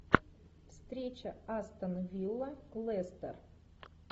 встреча астон вилла лестер